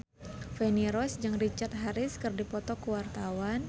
Feni Rose jeung Richard Harris keur dipoto ku wartawan